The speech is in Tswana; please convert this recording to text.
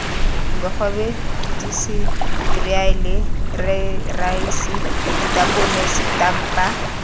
bogobe diseriale raese ditapole setampa